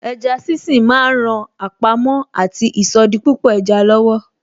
Eja sínsín ma ń ran àpamọ́ àti ìsọdipúpọ̀ eja lọ́wọ́.